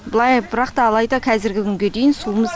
былай бірақ та алайда қазіргі күнге дейін суымыз